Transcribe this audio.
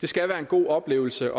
det skal være en god oplevelse